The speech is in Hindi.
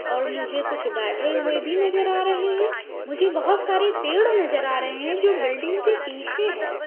और मुझे कुछ बैठे हुए भी नजर आ रहे हैं मुझे बहोत सारे पेड़ नजर आ रहे हैं जो बिल्डिंग के पीछे है।